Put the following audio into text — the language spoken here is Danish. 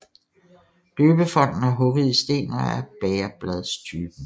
Døbefonten er hugget i sten og er af bægerbladstypen